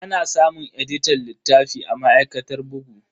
Ana samun editan littafi a ma'aikatar bugu.